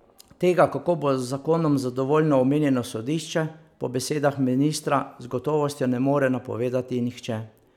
Tega, kako bo z zakonom zadovoljno omenjeno sodišče, po besedah ministra z gotovostjo ne more napovedati nihče.